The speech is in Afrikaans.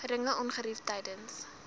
geringe ongerief tydens